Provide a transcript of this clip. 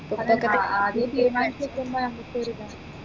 ആ ആദ്യേ തീരുമാനിച്ച് വെക്കേണ്ടേ അങ്ങതെ ഒരിതാണ്